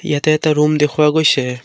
ইয়াতে এটা ৰূম দেখুওৱা গৈছে।